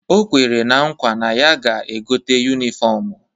O kwere na nkwa na ya ga-egote yunifọmụ